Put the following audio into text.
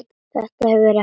Þetta hefur ekki.?